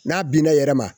N'a binna yɛrɛ ma